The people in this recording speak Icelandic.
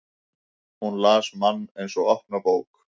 Hún las mann eins og opna bók.